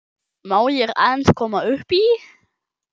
Má ég aðeins koma upp í?